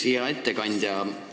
Hea ettekandja!